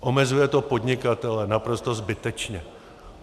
Omezuje to podnikatele naprosto zbytečně.